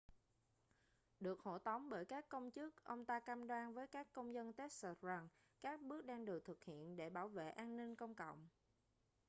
được hộ tống bởi các công chức ông ta cam đoan với các công dân texas rằng các bước đang được thực hiện để bảo vệ an ninh công cộng